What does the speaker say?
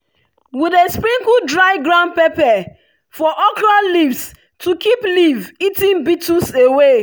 we dey sprinkle dry ground pepper for okra leaves to keep leaf-eating beetles away.